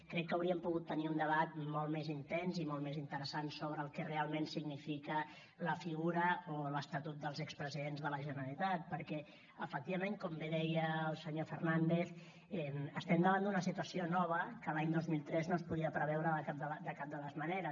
crec que hauríem pogut tenir un debat molt més intens i molt més interessant sobre el que realment significa la figura o l’estatut dels expresidents de la generalitat perquè efectivament com bé deia el senyor fernández estem davant d’una situació nova que l’any dos mil tres no es podia preveure de cap de les maneres